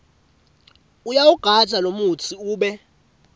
uyawugandza lomutsi ube